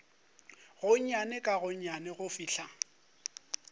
gonnyane ka gonnyane go fihla